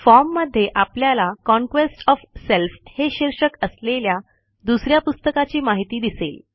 form मध्ये आपल्याला conquest of self हे शीर्षक असलेल्या दुस या पुस्तकाची माहिती दिसेल